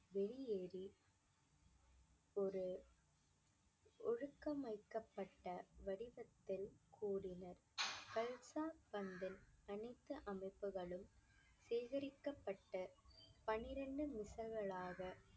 ஒரு ஒழுக்கம் வைக்கப்பட்ட வடிவத்தில் கூடினர் கல்சா அனைத்து அமைப்புகளும் சேகரிக்கப்பட்ட பன்னிரண்டு